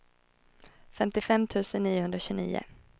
femtiofem tusen niohundratjugonio